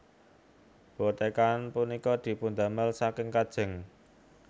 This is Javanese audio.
Bothekan punika dipundamel saking kajeng